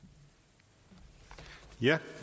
jeg